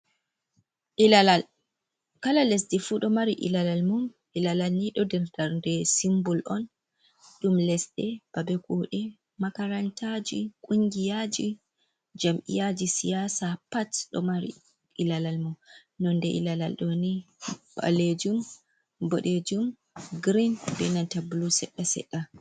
Ilalal kala lesdi fuu ɗo mari ilalal mum, ilalal nii ɗo darɗe simbol on, ɗum lesdi babe kuuɗe, makarantaji, kungiyaji, jami'yaa ji siyasa, pat ɗo mari ilalal mum, nonde ilalal ɗooni ɓaleejum, boɗejum, girin, ɓee nanta bulu seɗɗa seɗɗa.